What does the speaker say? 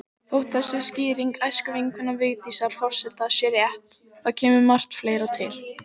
Þótt þessi skýring æskuvinkonu Vigdísar forseta sé rétt, þá kemur margt fleira til.